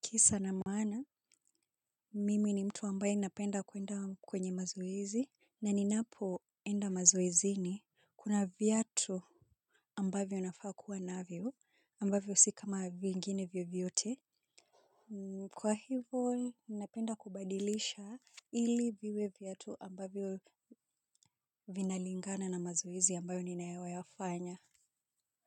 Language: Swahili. Kisa na maana, mimi ni mtu ambaye napenda kuenda kwenye mazoezi. Na ninapoenda mazoezini kuna viatu ambavyo nafaa kuwa navyo, ambavyo si kama vingine vyovyote. Kwa hivo, napenda kubadilisha ili viwe viatu ambavyo vinalingana na mazoezi ambayo ninayoyafanya.